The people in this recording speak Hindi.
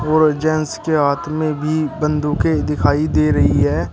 और जेंट्स के हाथ में भी बंदूकें दिखाई दे रही है।